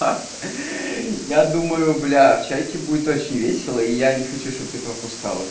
ха я думаю бля в чайке будет очень весело и я не хочу чтобы ты пропускала